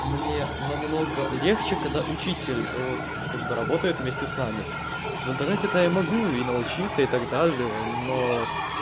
мне намного легче когда учитель вот как бы работает вместе с нами в интернете то я могу и научиться и так далее но